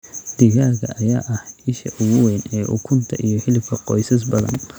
Digaagga ayaa ah isha ugu weyn ee ukunta iyo hilibka qoysas badan.